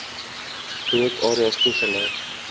rook areas toegelaat